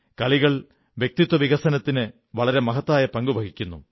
കളികൾ വ്യക്തിത്വ വികസനത്തിന് വളരെ മഹത്തായ പങ്ക് നിർവഹിക്കുന്നു